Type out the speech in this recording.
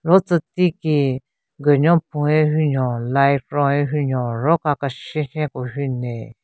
Ro tsü ti ki gunyo phun ye hunyo light ron ye hunyo ro ka keshen keshen ko hu nle.